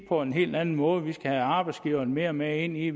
på en helt anden måde vi skal have arbejdsgiverne mere med ind i